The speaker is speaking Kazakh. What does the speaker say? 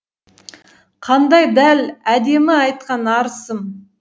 қандай дәл әдемі айтқан арысым